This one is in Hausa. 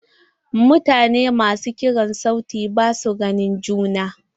Mutane masu kiran sauti basu ganin juna.